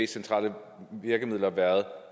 centrale virkemidler været